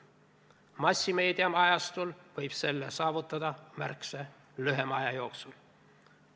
Massimeedia ajastul võib selle saavutada märksa lühema aja jooksul.